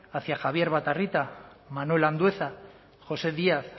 hacia javier batarrita manuel andueza josé díaz